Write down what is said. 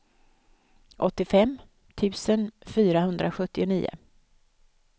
åttiofem tusen fyrahundrasjuttionio